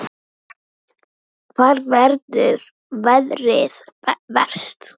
Lillý: Hvar verður veðrið verst?